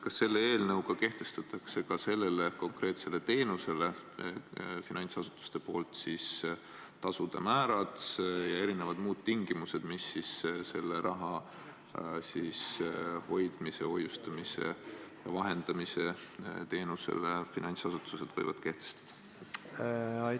Kas selle eelnõuga kirjutatakse ette nende konkreetsete teenuste puhul tasude määrad ja muud tingimused, mis seda raha hoiustavad ja vahendavad finantsasutused võivad kehtestada?